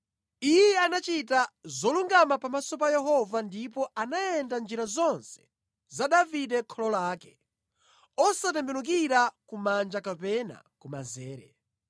Iye anachita zolungama pamaso pa Yehova ndipo anayenda mʼnjira zonse za Davide kholo lake, osatembenukira kumanja kapena kumanzere.